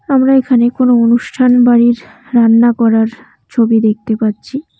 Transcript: আমরা এখানে কোনো অনুষ্ঠান বাড়ির রান্না করার ছবি দেখতে পাচ্ছি।